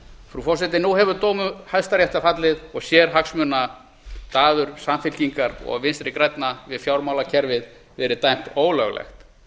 frú forseti nú hefur dómur hæstaréttar fallið og sérhagsmunadaður samfylkingar og vinstri grænna við fjármálakerfið verið dæmt ólöglegt